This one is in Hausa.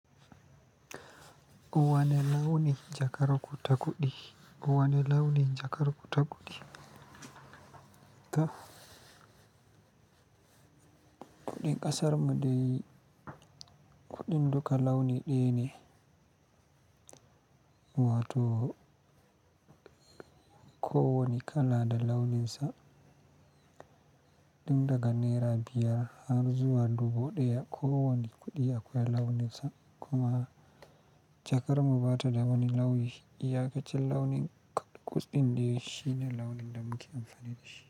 Ko wane launin jakarar ku takuɗi. Kowane launin jakarar ku takuɗi. To, kuɗin kasar mu dai kuɗin duka launin ɗaya ne. Wato kowa ne kala da launinsa. Tun daga nera biyar har zuwa dubu ɗaya kowa ne kuɗi akwai launinsa. Kuma jakar mu ba ta da wani launi. Iya ka cin launin kuɗin dai shi ne launin da muke amfani da shi.